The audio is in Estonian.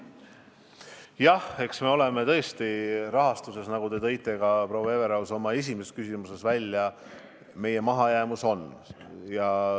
Jah, eks me oleme tõesti rahastusega raskustes, nagu te, proua Everaus, ka oma esimeses küsimuses viitasite.